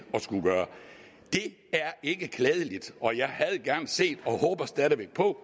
gøre det er ikke klædeligt og jeg havde gerne set og håber stadig væk på